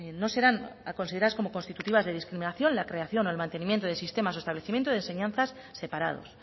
no serán consideradas como constitutivas de discriminación la creación o el mantenimiento de sistemas o establecimiento de enseñanzas separados